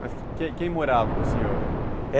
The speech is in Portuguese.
Mas quem quem morava com o senhor?